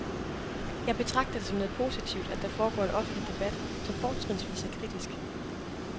Jeg betragter det som noget positivt, at der foregår en offentlig debat, som fortrinsvis er kritisk.